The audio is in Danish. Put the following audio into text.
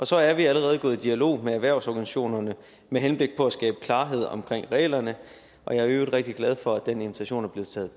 så er vi allerede gået i dialog med erhvervsorganisationerne med henblik på at skabe klarhed om reglerne og jeg er i øvrigt rigtig glad for at den invitation er blevet